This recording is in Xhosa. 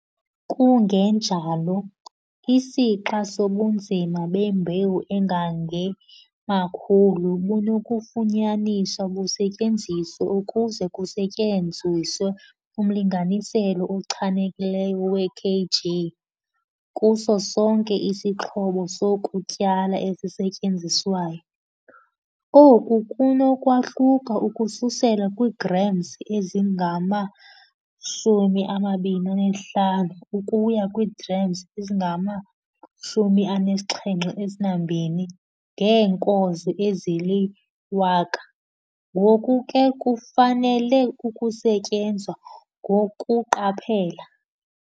Kungenjalo, isixa sobunzima bembewu engange-1000 bunokufunyaniswa busetyenziswe ukuze kusetyenziswe umlinganiselo ochanekileyo we-kg kuso sonke isixhobo sokutyala esisetyenziswayo. Oku kunokwahluka ukususela kwiigrams ezingama-25 ukuya kwiigrams ezingama-72 ngeenkozo ezili-100, ngoku ke kufanele ukusetyenzwa ngokuqaphela.